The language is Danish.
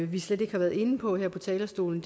vi slet ikke har været inde på her fra talerstolen